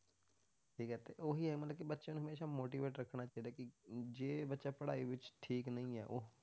ਠੀਕ ਹੈ ਤੇ ਉਹੀ ਹੈ ਮਤਲਬ ਕਿ ਬੱਚਿਆਂ ਨੂੰ ਹਮੇਸ਼ਾ motivate ਰੱਖਣਾ ਚਾਹੀਦਾ ਹੈ ਕਿ ਜੇ ਬੱਚਾ ਪੜ੍ਹਾਈ ਵਿੱਚ ਠੀਕ ਨਹੀਂ ਹੈ ਉਹ